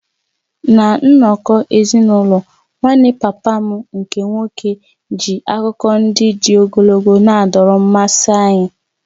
Ná nnọkọ ezinụlọ, nwanne papa m nke nwoke ji akụkọ ndị dị ogologo na-adọrọ mmasị anyị.